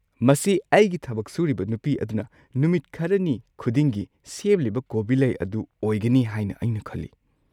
ꯃꯁꯤ ꯑꯩꯒꯤ ꯊꯕꯛ ꯁꯨꯔꯤꯕ ꯅꯨꯄꯤ ꯑꯗꯨꯅ ꯅꯨꯃꯤꯠ ꯈꯔꯅꯤ ꯈꯨꯗꯤꯡꯒꯤ ꯁꯦꯝꯂꯤꯕ ꯀꯣꯕꯤ ꯂꯩ ꯑꯗꯨ ꯑꯣꯏꯒꯅꯤ ꯍꯥꯏꯅ ꯑꯩꯅ ꯈꯜꯂꯤ꯫